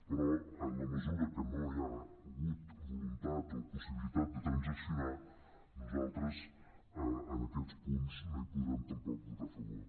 però en la mesura que no hi ha hagut voluntat o possibilitat de transaccionar nosaltres en aquests punts no hi podrem tampoc votar a favor